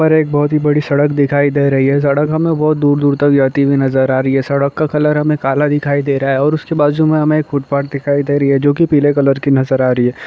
पर एक बहुत ही बड़ी सड़क दिखाई दे रही है सड़क हमें बहुत दूर-दूर तक जाती हुई नजर आ रही है सड़क का कलर हमें काला दिखाई दे रहा है और उसके बाजू मेंहमें एक फुटपाथ दिखाई दे रही है जो की पीले कलर की नजर आ रही है।